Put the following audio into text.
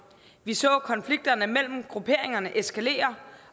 vi så konflikterne mellem grupperingerne eskalere